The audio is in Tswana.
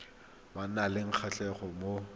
ba nang le kgatlhego mo